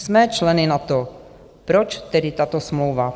Jsme členy NATO, proč tedy tato smlouva?